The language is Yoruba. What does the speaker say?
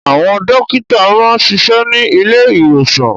Àwọn dókítà máa ń ṣiṣẹ́ ní ilé ìwòsàn